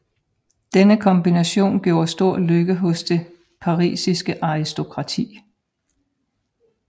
Denne kombination gjorde stor lykke hos det parisiske aristokrati